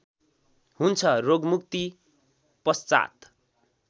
हुन्छ रोगमुक्ति पश्चात्